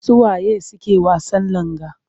Su wa ye suke wasan langa?